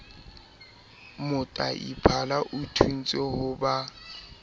moteaphala o thontswe ho ba